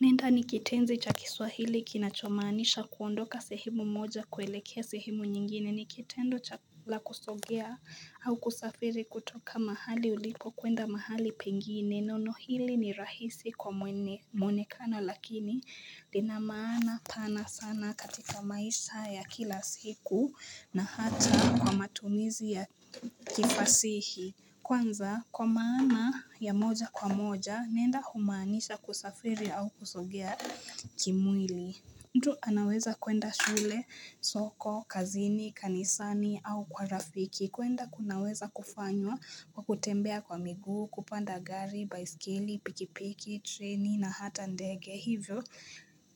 Nenda nikitenzi cha kiswahili kinachomanisha kuondoka sehemu moja kuelekea sehemu nyingine, nikitendo chala kusogea au kusafiri kutoka mahali ulipo kuenda mahali pengine, nono hili ni rahisi kwa mwene kana lakini linamana pana sana katika maisha ya kila siku na hata kwa matumizi ya kifasihi. Kwanza kwa maana ya moja kwa moja nenda humaanisha kusafiri au kusogea kimwili mtu anaweza kuenda shule, soko, kazini, kanisani au kwa rafiki kuenda kunaweza kufanywa kwa kutembea kwa miguu, kupanda gari, baisikili, pikipiki, treni na hata ndege Hivyo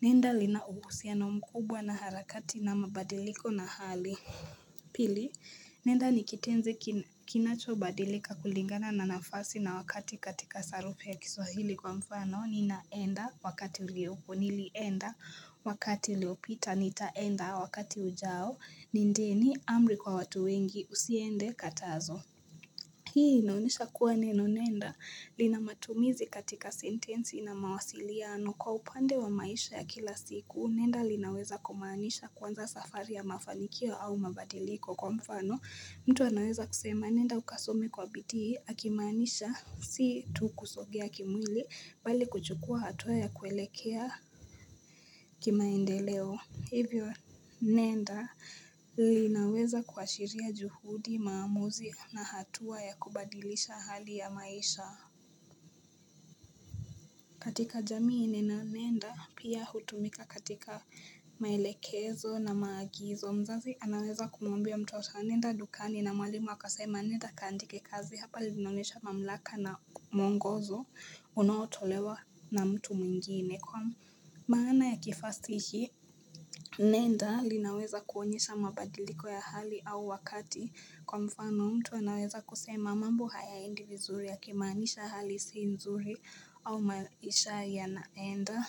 nenda linauhusia na mkubwa na harakati na mabadiliko na hali Pili, nenda nikitenzi kinacho badilika kulingana na nafasi na wakati katika sarufi ya kiswahili kwa mfano, ninaenda wakati uliopo, nilienda wakati uliopita, nitaenda wakati ujao, nindeni amri kwa watu wengi, usiende katazo. Hii inaonyeshaa kuwa neno nenda linamatumizi katika sentensi na mawasiliano kwa upande wa maisha ya kila siku nenda linaweza kumanisha kwanza safari ya mafanikio au mabadiliko kwa mfano mtu anaweza kusema nenda ukasome kwa biti akimanisha si tu kusogea kimwili bali kuchukua hatua ya kuelekea kimaendeleo. Hivyo nenda linaweza kuashiria juhudi maamuzi na hatua ya kubadilisha hali ya maisha. Katika jamii neno nenda pia hutumika katika maelekezo na maagizo. Mzazi anaweza kumombia mtoto nenda dukani na mwalimu akasema nenda kandike kazi hapa linaonyesha mamlaka na mongozo unawotolewa na mtu mwingine. Kwa maana ya kifasihi, nenda linaweza kuonyesha mabadiliko ya hali au wakati kwa mfano mtu anaweza kusema mambo hayaendi vizuri ya kimaanisha hali siinzuri au maisha ya naenda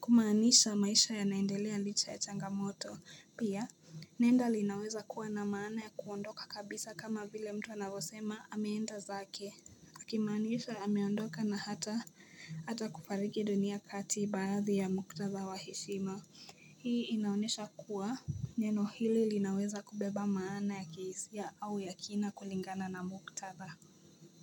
kumaanisha maisha ya naendelea licha ya changamoto pia Nenda linaweza kuwa na maana ya kuondoka kabisa kama vile mtu anavosema ameenda zake Akimaanisha ameondoka na hata kufariki dunia kati baadhi ya muktadha wa hishima. Hii inaonesha kuwa neno hili linaweza kubeba maana ya kihisia au ya kina kulingana na muktatha.